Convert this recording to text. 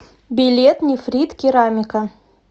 билет нефрит керамика